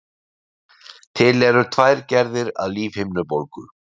Til eru tvær gerðir lífhimnubólgu.